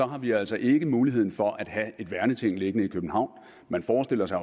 har vi altså ikke muligheden for at have et værneting liggende i københavn man forestiller sig